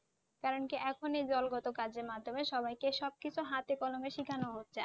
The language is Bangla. কারণ কি এখন এই দলগত কাজের মাধ্যমে সবাইকে সবকিছু হাতে কলমে সেখানো হচ্ছে